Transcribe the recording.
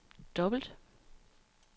dobbelt